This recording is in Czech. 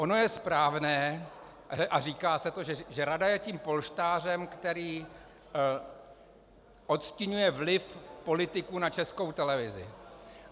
Ono je správné, a říká se to, že rada je tím polštářem, který odstiňuje vliv politiků na Českou televizi.